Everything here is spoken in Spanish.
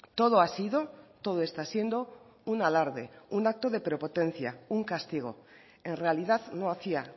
todo ha sido todo está siendo un alarde un acto de prepotencia un castigo en realidad no hacía